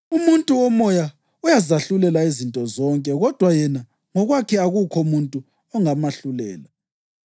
Umuntu womoya uyazahlulela izinto zonke kodwa yena ngokwakhe akukho muntu ongamahlulela,